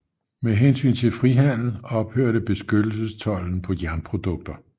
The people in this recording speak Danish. Med hensyn til frihandel ophørte beskyttelsestolden på jernprodukter